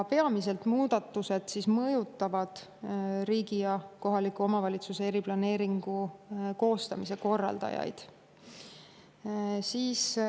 Peamiselt mõjutavad muudatused riigi ja kohaliku omavalitsuse eriplaneeringu koostamise korraldajaid.